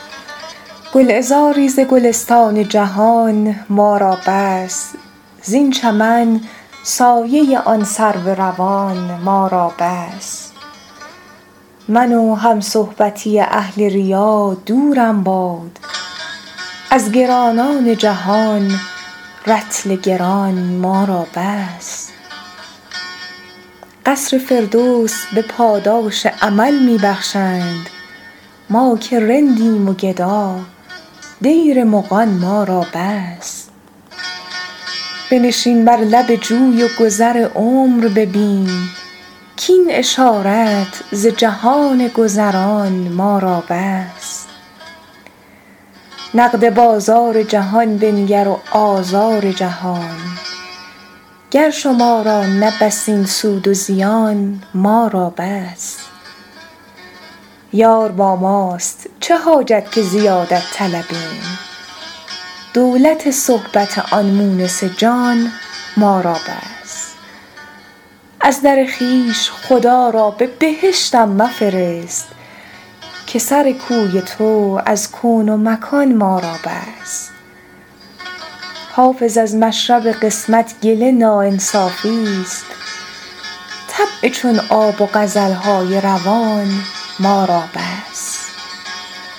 گلعذاری ز گلستان جهان ما را بس زین چمن سایه آن سرو روان ما را بس من و همصحبتی اهل ریا دورم باد از گرانان جهان رطل گران ما را بس قصر فردوس به پاداش عمل می بخشند ما که رندیم و گدا دیر مغان ما را بس بنشین بر لب جوی و گذر عمر ببین کاین اشارت ز جهان گذران ما را بس نقد بازار جهان بنگر و آزار جهان گر شما را نه بس این سود و زیان ما را بس یار با ماست چه حاجت که زیادت طلبیم دولت صحبت آن مونس جان ما را بس از در خویش خدا را به بهشتم مفرست که سر کوی تو از کون و مکان ما را بس حافظ از مشرب قسمت گله ناانصافیست طبع چون آب و غزل های روان ما را بس